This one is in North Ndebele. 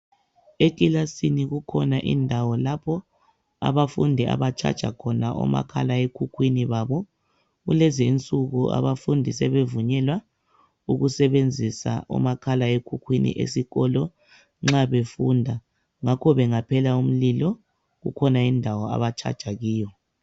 Ekilasini kukhona indawo lapho abafundi aba charger khona omakhalekhukhwini babo kulezinsuku abafundi sebevunyelwa ukusebenzisa omakhalekhukhwini esikolo nxa befunda ngakho bengaphela umlilo kukhona indawo aba charger kiyo.